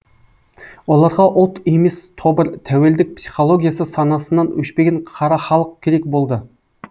оларға ұлт емес тобыр тәуелдік психологиясы санасынан өшпеген қара халық керек болды